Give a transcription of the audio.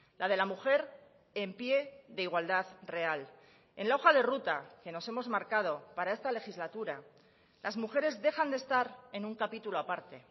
la de la mujer en pie de igualdad real en la hoja de ruta que nos hemos marcado para esta legislatura las mujeres dejan de estar en un capítulo aparte